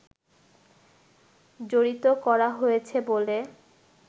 জড়িত করা হয়েছে বলে